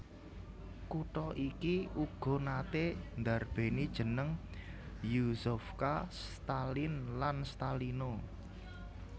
Kutha iki uga naté ndarbèni jeneng Yuzovka Staline lan Stalino